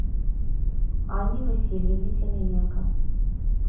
анне васильевне семененко